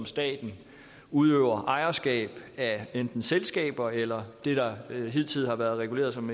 staten udøver ejerskab af enten selskaber eller det der hidtil har været reguleret som